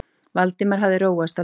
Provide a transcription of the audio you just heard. Valdimar hafði róast á leiðinni.